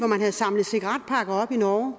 man havde samlet cigaretpakker op i norge